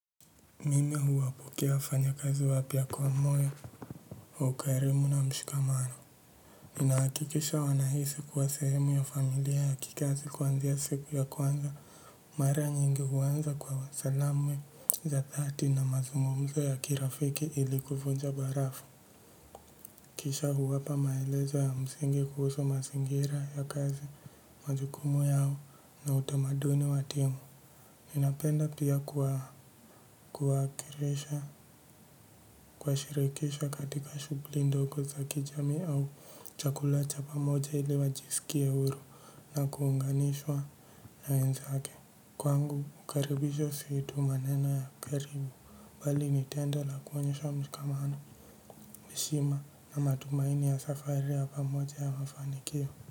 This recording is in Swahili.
Mimi huwapokea fanyakazi wapya kwa moyo wa ukarimu na mshikamano. Nina hakikisha wanahisi kuwa sehemu ya familia ya kikazi kuanzia siku ya kwanza. Mara nyingi huanza kwa salamu za dhati na mazungumzo ya kirafiki ili kuvunja barafu. Kisha huwapa maelezo ya msingi kuhusu masingira ya kazi majukumu yao na utamaduni wa timu. Ninapenda pia kuwakiresha, kuwashirikisha katika shugli ndogo za kijamii au chakula cha pamoja ili wajisikie huru na kuunganishwa na wenzake. Kwangu, mkaribisho su tu maneno ya karibu, bali ni tendo la kuonyesha mshikamano, heshima na matumaini ya safari ya pamoja ya mafanikio.